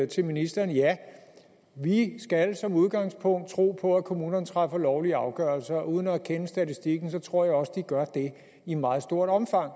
til ministeren ja vi skal som udgangspunkt tro på at kommunerne træffer lovlige afgørelser uden at kende statistikken tror jeg også at de gør det i meget stort omfang